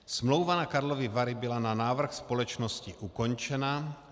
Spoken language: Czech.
Smlouva na Karlovy Vary byla na návrh společnosti ukončena.